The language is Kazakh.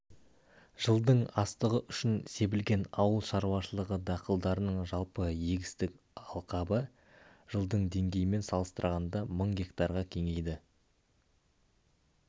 жылдың астығы үшін себілген ауыл шаруашылығы дақылдарының жалпы егістік алқабы жылдың деңгейімен салыстырғанда мың гектарға кеңейді